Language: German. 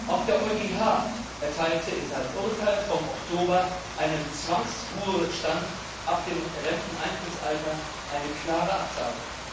Auch der EuGH erteilte in seinem Urteil vom Oktober einem Zwangsruhestand ab dem Renteneintrittsalter eine klare Absage.